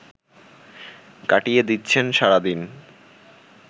কাটিয়ে দিচ্ছেন সারাদিন